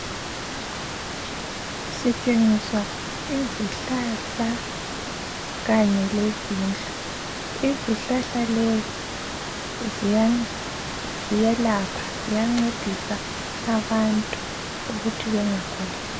Sitshengiswa izihlahla kanye lezindlu. Izihlahla lezi ziyelapha, ziyancedisa abantu ukuthi bengaguli